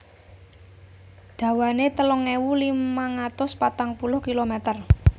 Dawanané telung ewu limang atus patang puluh kilomèter